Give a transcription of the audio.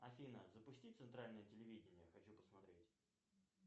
афина запусти центральное телевидение хочу посмотреть